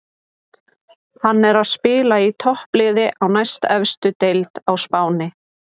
Hann er að spila í toppliði á næstefstu deild á Spáni.